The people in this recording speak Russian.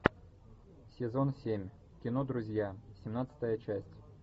сезон семь кино друзья семнадцатая часть